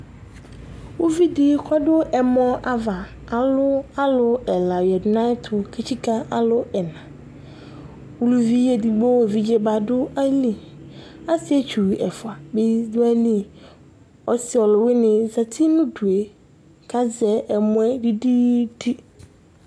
uvi dɩ dʊ ɛmɔ ava, kʊ alu alʊ ɛla yǝ nʊ ayɛtʊ kalɛ ɛna, uluvi evidze edigbo dʊ ayili, asietsu ɛfua bɩ dʊ ayili, ɔsi ɔluwɩnɩ zati nʊ udu kʊ azɛ ɛmɔ yɛ didi